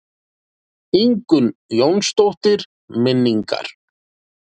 Ingunn Jónsdóttir: Minningar.